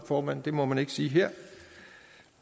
formand det må man ikke sige her